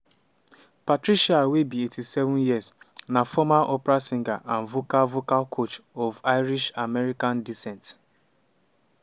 patricia wey be 87 years na former opera singer and vocal vocal coach of irish-american descent.